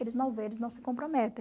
Eles não veem, eles não se comprometem.